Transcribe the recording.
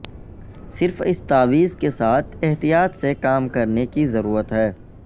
صرف اس تاویز کے ساتھ احتیاط سے کام کرنے کی ضرورت ہے